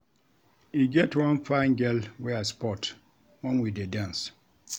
E get one fine girl wey I spot wen we dey dance